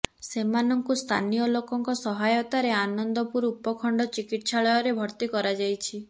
ସେମାନଙ୍କୁ ସ୍ଥାନୀୟଲୋକଙ୍କ ସହାୟତାରେ ଆନନ୍ଦପୁର ଉପଖଣ୍ଡ ଚିକିତ୍ସାଳୟରେ ଭର୍ତ୍ତି କରାଯାଇଛି